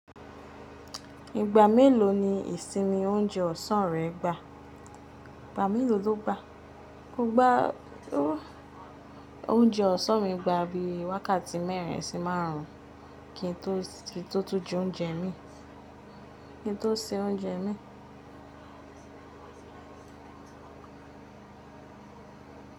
Ìgbà mélòó ni ìsinmi oúnjẹ ọ̀sán rẹ gba? Ìgbà mélò ló gbá? Mo gbá oúnjẹ ọ̀sán mi gba bíi wákàtí mẹ́rin sí márùn-ún kí n tó tún ju oúnjẹ imin, kí n tó se oúnjẹ imin.